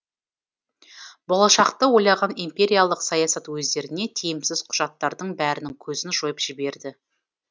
болашақты ойлаған империялық саясат өздеріне тиімсіз құжаттардың бәрінің көзін жойып жіберді